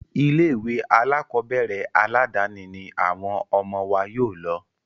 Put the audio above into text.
Ilé ìwé alákọ̀berẹ̀ aládàni ní àwọn ọmọ wa yóò lọ.